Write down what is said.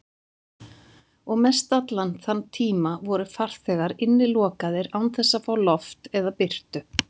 Og mestallan þann tíma voru farþegar innilokaðir án þess að fá loft eða birtu.